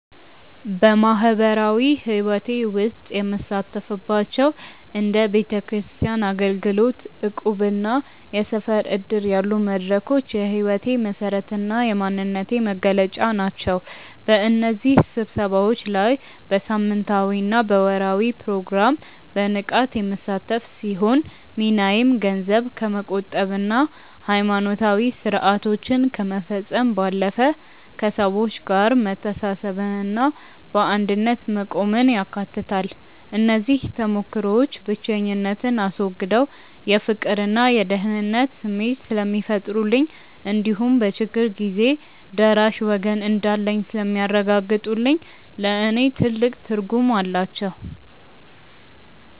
በማኅበራዊ ሕይወቴ ውስጥ የምሳተፍባቸው እንደ ቤተክርስቲያን አገልግሎት፣ እቁብና የሰፈር ዕድር ያሉ መድረኮች የሕይወቴ መሠረትና የማንነቴ መገለጫ ናቸው። በእነዚህ ስብሰባዎች ላይ በሳምንታዊና በወርኃዊ ፕሮግራም በንቃት የምሳተፍ ሲሆን፣ ሚናዬም ገንዘብ ከመቆጠብና ሃይማኖታዊ ሥርዓቶችን ከመፈጸም ባለፈ፣ ከሰዎች ጋር መተሳሰብንና በአንድነት መቆምን ያካትታል። እነዚህ ተሞክሮዎች ብቸኝነትን አስወግደው የፍቅርና የደህንነት ስሜት ስለሚፈጥሩልኝ እንዲሁም በችግር ጊዜ ደራሽ ወገን እንዳለኝ ስለሚያረጋግጡልኝ ለእኔ ትልቅ ትርጉም አላቸው።